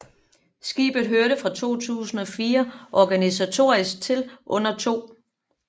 Skibet hørte fra 2004 organisatorisk til under 2